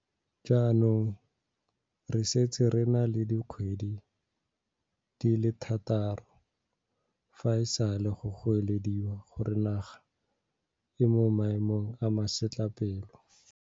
Jaanong re setse re na le dikgwedi di le thataro fa e sale go goelediwa gore naga e mo maemong a masetlapelo.